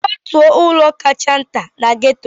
Kwatuo ụlọ kacha nta na gétò